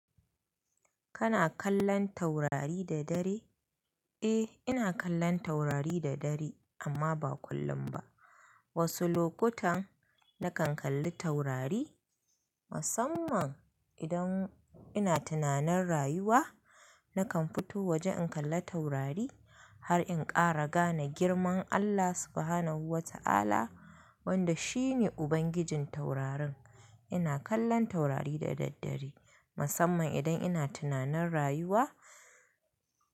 Kana kallon taurari da dare? Eh, ina kallon taurari da dare amma ba kullum ba. Wasu lokutan na kan kalli taurari, musamman idan ina tunanin rayuwa. Na kan fito waje in kalla taurari har in ƙara gane girman Allah Subhanahu wa Ta'ala wanda shi ne Ubangijin taurarin. Ina kallon taurari da daddare musamman idan ina tunanin rayuwa.